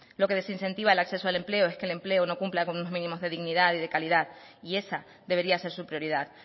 lo que desincentiva el acceso al empleo es que el empleo no cumpla con unos mínimos de dignidad y de calidad y esa debería ser su prioridad